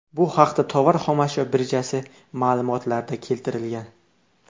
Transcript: Bu haqda Tovar xomashyo birjasi ma’lumotlarida keltirilgan .